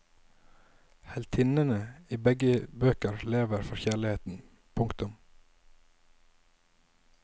Heltinnene i begge bøker lever for kjærligheten. punktum